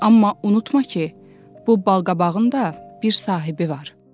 Amma unutma ki, bu balqabağın da bir sahibi var.